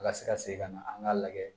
Ka se ka segin ka na an k'a lajɛ